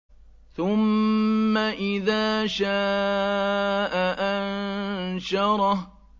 ثُمَّ إِذَا شَاءَ أَنشَرَهُ